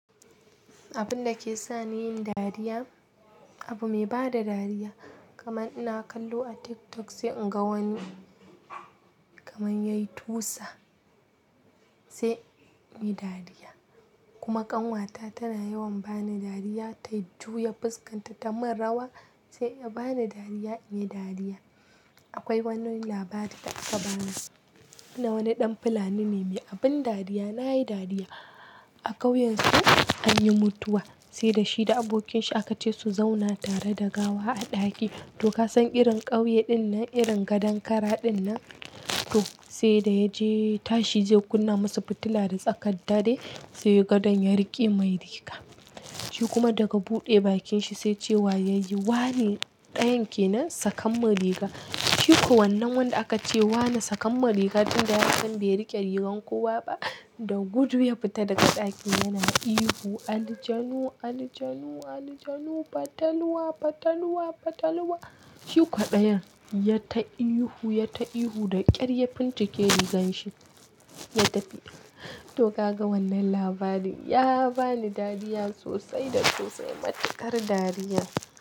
Abin da ke sa ni yin dariya, abu mai bada dariya kaman ina kallo a TikTok sai in ga wani kaman yayi tusa sai in yi dariya. Kuma kanwata tana yawan ba ni dariya, ta juya fuskanta ta mun rawa sai ya ba ni dariya in yi dariya. Akwai wani labari da aka bani na wani ɗan fulani ne, mai abin dariya, na yi dariya. A ƙauyensu anyi mutuwa sai da shi da abokinshi aka ce su zauna tare da gawa a ɗaki. To kasan irin ƙauye dinnan, irin gadon kara dinnan to sai da ya je tashi zai kunna musu fitila da tsakar dare sai gadon ya riƙe mai riga. Shi kuma daga buɗe bakinshi sai cewa yayi wane dayan ke nan sakammun riga. Shi kuwa wannan wanda aka ce wane sakammun rigar tunda yasan bai riƙe rigar kowa ba, da gudu ya fita daga ɗaki yana ihu "aljanu, aljanu, aljanu, fatalwa, fatalwa, fatalwa". A ƙauyensu anyi mutuwa sai da shi da abokinshi aka ce su zauna tare da gawa a ɗaki. To kasan irin ƙauye dinnan, irin gadon kara dinnan to sai da ya je tashi zai kunna masa fitila da tsakar dare sai gadon ya riƙe mai riga. To ka ga wannan labarin ya ba ni dariya sosai da sosai, matukar dariya.